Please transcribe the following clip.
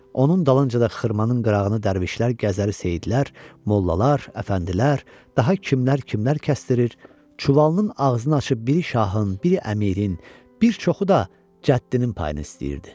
Onun dalınca da xırmanın qırağını dərvişlər, gəzəri seyidlər, mollalar, əfəndilər, daha kimlər kimlər kəsdirir, çuvalının ağzını açıb biri şahın, biri əmirin, bir çoxu da cəddinin payını istəyirdi.